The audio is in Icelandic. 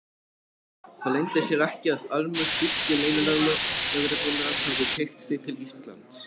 Það leyndi sér ekki, að armur þýsku leynilögreglunnar hafði teygt sig til Íslands.